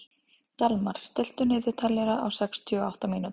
Dalmar, stilltu niðurteljara á sextíu og átta mínútur.